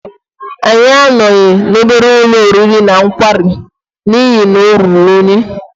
Anyị anọghị n'obere ụlọ oriri na nkwari n'ihi na ọ ruru unyi.